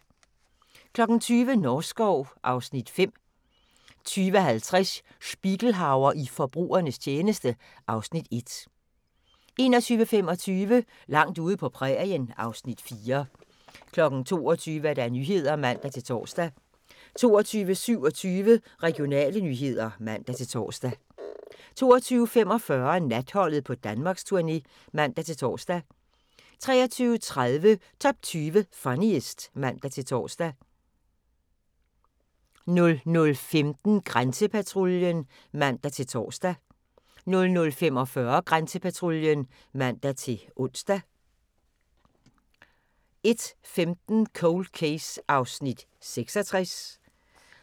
20:00: Norskov (Afs. 5) 20:50: Spiegelhauer i forbrugernes tjeneste (Afs. 1) 21:25: Langt ude på prærien (Afs. 4) 22:00: Nyhederne (man-tor) 22:27: Regionale nyheder (man-tor) 22:45: Natholdet på Danmarksturné (man-tor) 23:30: Top 20 Funniest (man-tor) 00:15: Grænsepatruljen (man-tor) 00:45: Grænsepatruljen (man-ons) 01:15: Cold Case (66:156)